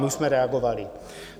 My jsme reagovali.